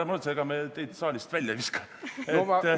Ära muretse, ega me teid saalist välja ei viska.